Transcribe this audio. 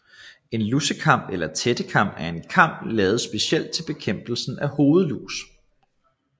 En lusekam eller tættekam er en kam lavet specielt til bekæmpelsen af hovedlus